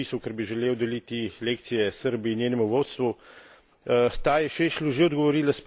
Drugič pod resolucijo se nisem podpisal, ker bi želel deliti lekcije Srbiji in njenemu vodstvu.